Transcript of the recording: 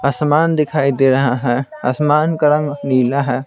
आसमान दिखाई दे रहा है आसमान का रंग नीला है।